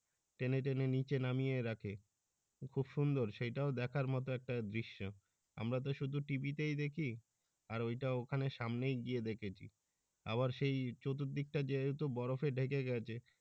টেনে টেনে নিচে নামিয়ে রাখে খুব সুন্দর সেই টাও দেখার মত একটা দৃশ্য আমরা তো শুধু TV তেই দেখি আর ওই টা ওখানে সামনে গিয়ে দেখেছি আবার সেই চতুর্দিকটা যেহেতু বরফে ঢেকে গেছে।